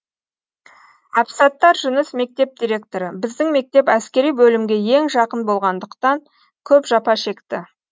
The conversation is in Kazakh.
әбсаттар жүніс мектеп директоры біздің мектеп әскери бөлімге ең жақын болғандықтан көп жапа шекті